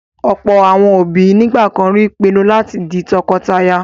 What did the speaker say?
Ọ̀pọ̀ àwọn òbí nígbà kan rí pinnu láti di tọkọtaya.